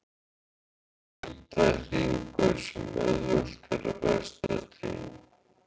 Þetta er vítahringur sem auðvelt er að festast í.